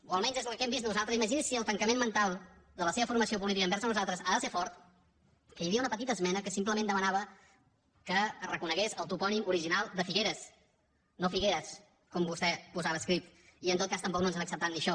o almenys és el que hem vist nosaltres imagini’s si el tancament mental de la seva formació política envers nosaltres ha de ser fort que hi havia una petita esmena que simplement demanava que es reconegués el topònim original de figueres no figueras com vostè posava escrit i en tot cas tampoc no ens han acceptat ni això